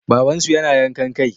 Babansu yana yankan kai?